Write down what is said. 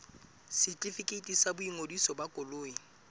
setefikeiti sa boingodiso ba koloi